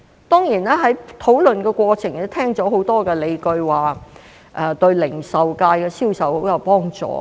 當然，在討論的過程中，聽到很多理據說對零售界銷售很有幫助。